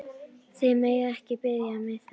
Þið megið ekki biðja mig þess!